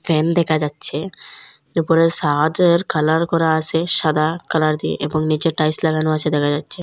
Fan দেখা যাচ্ছে উপরে সাডের কালার করা আছে সাদা কালার দিয়ে এবং নীচে টাইলস লাগানো আছে দেখা যাচ্ছে।